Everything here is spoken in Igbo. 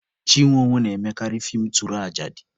Chinwe owoh na-emekarị feem tụrajadi